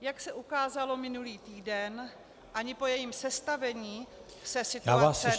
Jak se ukázalo minulý týden, ani po jejím sestavení se situace nelepší.